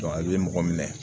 i bɛ mɔgɔ minɛ